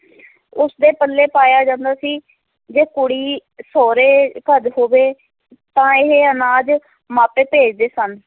ਉਸਦੇ ਪੱਲੇ ਪਾਇਆ ਜਾਂਦਾ ਸੀ, ਜੇ ਕੁੜੀ ਸਹੁਰੇ ਘਰ ਹੋਵੇ ਤਾਂ ਇਹ ਅਨਾਜ ਮਾਪੇ ਭੇਜਦੇ ਸਨ।